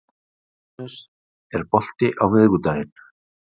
Venus, er bolti á miðvikudaginn?